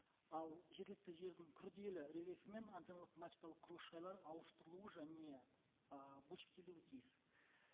ал жергілікті жердің күрделі рельефімен антенналық мачталық құрылыс жайлар ауыстырылуы және ііі бөлшектелуі тиіс